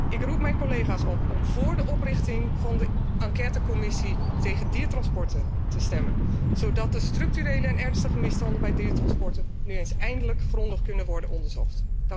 Ik roep mijn collega's op om vóór de oprichting van de enquêtecommissie tegen diertransporten te stemmen, zodat de structurele en ernstige misstanden bij diertransporten nu eens eindelijk grondig kunnen worden onderzocht.